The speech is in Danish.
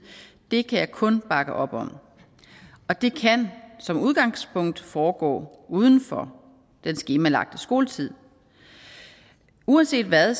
det kan jeg kun bakke op om og det kan som udgangspunkt foregå uden for den skemalagte skoletid uanset hvad